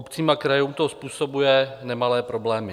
Obcím a krajům to způsobuje nemalé problémy.